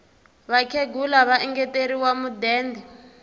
vakhegula va engeteriwe mudende